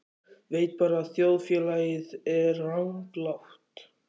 Veit bara að þjóðfélagið er ranglátt.